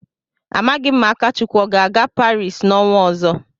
Amaghị ma Akachukwu ọ ga-aga Paris n'ọnwa ọzọ.